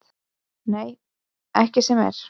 Nei, ekki sem er.